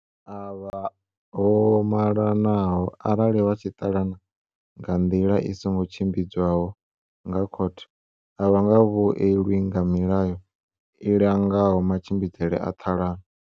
Avho vho malanaho arali vha tshi ṱalana nga nḓila i songo tshimbidzwaho nga khothe, a vha nga vhuelwi nga milayo i langaho matshimbidzele a ṱhalano.